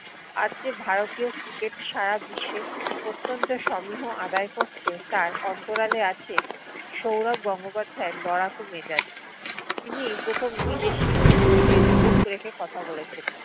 আজ যে ভারতীয় cricket সারা বিশ্বে অত্যন্ত সমীহ আদায় করছে তার অন্তরালে আছে সৌরভ গঙ্গোপাধ্যাইয়ের লড়াকু মেজাজ। তিনিই প্রথম বিদেশির চোখে চোখ রেখে কথা বলেছেন।